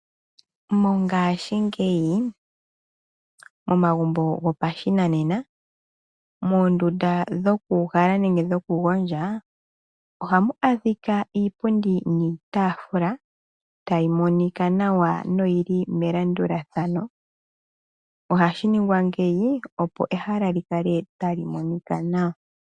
Mongashingeyi momagumbo gopashinanena, moondunda dhoku uhala nenge dhoku gondja, ohamu adhika iipundi niitafula tayi monika nawa na oyili melandulathano. Ohashi ningwa ngeyi opo ehala likale tali monika nawa.